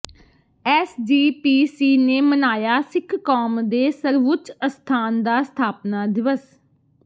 SGPC ਨੇ ਮਨਾਇਆ ਸਿੱਖ ਕੌਮ ਦੇ ਸਰਵਉੱਚ ਅਸਥਾਨ ਦਾ ਸਥਾਪਨਾ ਦਿਵਸ